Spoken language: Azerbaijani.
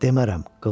Demərəm,